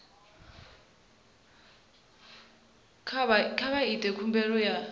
kha vha ite khumbelo ya